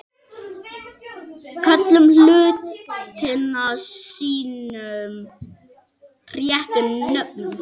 Köllum hlutina sínum réttu nöfnum.